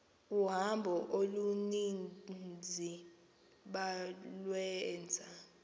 uhambo oluninzi balwenza